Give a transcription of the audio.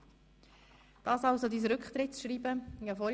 » Dies ist also Ihr Rücktrittsschreiben, Christian Hadorn.